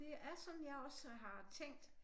Det er sådan jeg også har tænkt